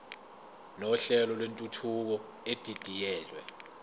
nohlelo lwentuthuko edidiyelwe